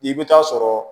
I bɛ taa sɔrɔ